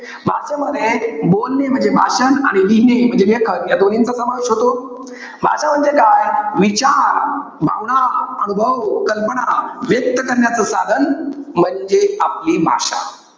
भाषेमध्ये, बोलणे म्हणजे भाषण आणि लिहिणे म्हणजे लेखन. या दोन्हीचा समावेश होतो. भाषा म्हणजे काय? विचार, भावना, अनुभव, कल्पना व्यक्त करण्याचं साधन, म्हणजे आपली भाषा.